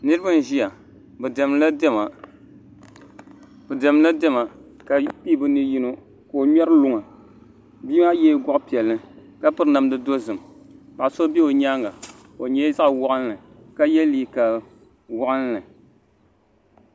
Niriba n ziya bi dɛmi di la dɛma ka pii bi ni yino ka o mŋɛri luŋa bia maa yiɛla gɔɣi piɛlli ka piri namda dozim paɣa so bɛ bi yɛanga o yɛla zaɣi wɔɣinli ka yiɛ liiga wɔɣinli .